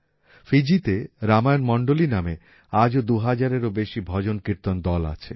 ফিজিতে রামায়ণ মন্ডলী নামে আজও ২০০০ এরও বেশি ভজন কীর্তন দল আছে